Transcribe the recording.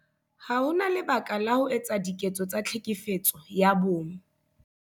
Ha ho na lebaka la ho etsa diketso tsa Tlhekefetso ya Bong